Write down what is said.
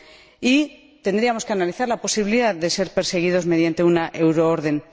Y tendríamos que analizar la posibilidad de perseguirlos mediante una euroorden.